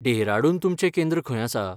डेहराडून तुमचें केंद्र खंय आसा?